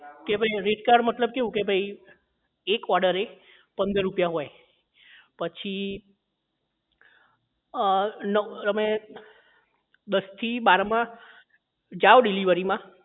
કે ભાઈ rate card મતલબ કેવું કે એક order એ પંદર રૂપિયા હોય પછી અ નવ તમે દસ થી બાર માં જાવ delivery માં